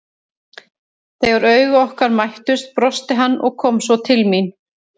Þegar augu okkar mættust brosti hann og kom svo til mín.